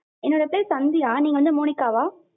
என்னோட பேர் சந்தியா நீங்க வந்து மோனிகா வா